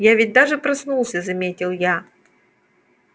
я ведь даже проснулся заметил я